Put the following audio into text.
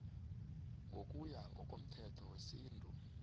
ngokuya ngomthetho wesintu